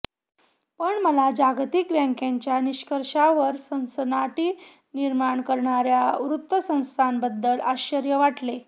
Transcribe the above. पण मला जागतिक बँकेच्या निष्कर्षांवर सनसनाटी निर्माण करणाऱ्या वृत्तसंस्थांबद्दल आश्चर्य वाटले